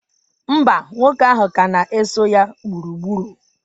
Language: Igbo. Mba, nwoke ahụ ka na-eso ya gburugburu.